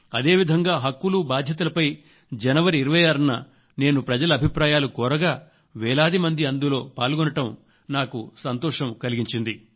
అదేవిధంగా హక్కులు బాధ్యతలపై జనవరి 26న నేను ప్రజల అభిప్రాయాలు కోరగా వేలాదిమంది అందులో పాల్గొనటం నాకు సంతోషం కలిగించింది